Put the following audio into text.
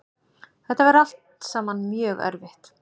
Þetta væri allt saman mjög erfitt